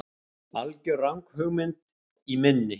algjör ranghugmynd í minni.